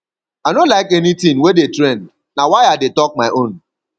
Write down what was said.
i no like anything wey dey trend na why i dey talk my own